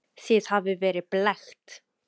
Þið hafið verið blekkt.